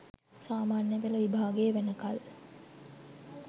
සාමාන්‍ය පෙළ විභාගය වෙනකල්